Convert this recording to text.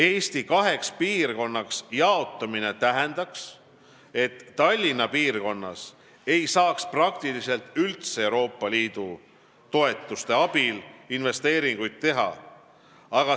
Eesti kaheks piirkonnaks jaotamine tähendaks, et Tallinna piirkonnas ei saaks praktiliselt üldse Euroopa Liidu toetuste abil investeeringuid teha.